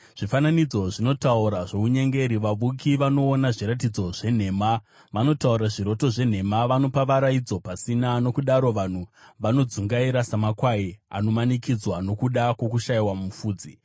Zvifananidzo zvinotaura zvounyengeri, vavuki vanoona zviratidzo zvenhema; vanotaura zviroto zvenhema, vanopa varaidzo pasina. Nokudaro vanhu vanodzungaira samakwai anomanikidzwa nokuda kwokushayiwa mufudzi.